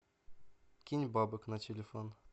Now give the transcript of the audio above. кинь бабок на телефон